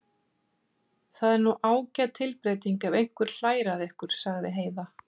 Það er nú ágæt tilbreyting ef einhver hlær að ykkur, sagði Heiða.